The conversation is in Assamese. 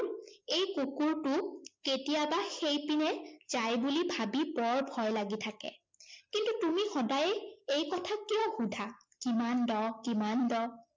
এই কুকুৰটো কেতিয়াবা সেইপিনে যায় বুলি ভাবি বৰ ভয় লাগি থাকে। কিন্তু তুমি সদায়ে এই কথা কিয় সোধা? কিমান দ? কিমান দ?